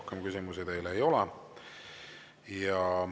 Rohkem küsimusi teile ei ole.